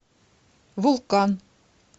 вулкан